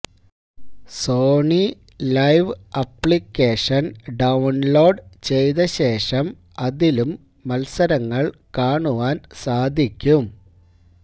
Sony Liv application download ചെയ്ത ശേഷം അതിലും മത്സരങ്ങൾ കാണുവാൻ സാധിക്കും